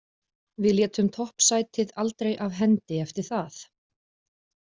Við létum toppsætið aldrei af hendi eftir það.